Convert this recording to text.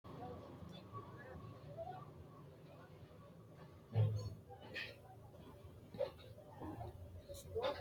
Lekkate harate wolqa hooganonsa manni woyi mayimansa giddo xe'ne noonsa manni tene shota doogoni mite baseni wole base sa"a dandiinannitta horonsire harano.